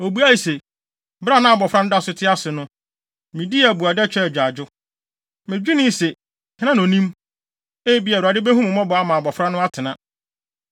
Obuae se, “Bere a na abofra no da so te ase no de, midii abuada, twaa agyaadwo. Medwenee sɛ, ‘Hena na onim? Ebia, Awurade behu me mmɔbɔ ama abofra no atena.’